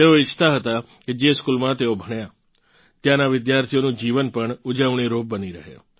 તેઓ ઇચ્છતા હતા કે જે સ્કૂલમાં તેઓ ભણ્યાં ત્યાંના વિદ્યાર્થીઓનું જીવન પણ ઊજવણીરૂપ બની રહે